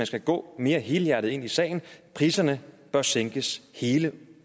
skal gå mere helhjertet ind i sagen priserne bør sænkes hele